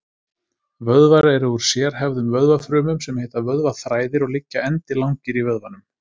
Vöðvar eru úr sérhæfðum vöðvafrumum sem heita vöðvaþræðir og liggja endilangir í vöðvanum.